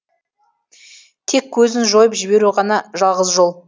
тек көзін жойып жіберу ғана жалғыз жол